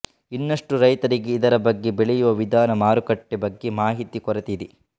ಇನ್ನಷ್ಟು ರೈತರಿಗೆ ಇದರ ಬಗ್ಗೆ ಬೆಳೆಯುವ ವಿಧಾನ ಮಾರುಕಟ್ಟೆ ಬಗ್ಗೆ ಮಾಹಿತಿ ಕೊರತೆ ಇದೆ